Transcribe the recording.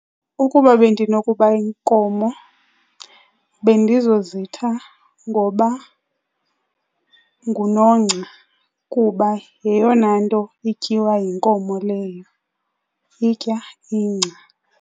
Ukuba bendinokuba yinkomo bendizozitha ngoba nguNongca kuba yeyona nto ityiwa yinkomo leyo, itya ingca.